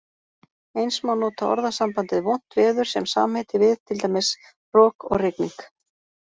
Eins má nota orðasambandið vont veður sem samheiti við, til dæmis, rok og rigning.